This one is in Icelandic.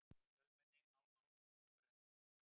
Fjölmenni á áramótabrennum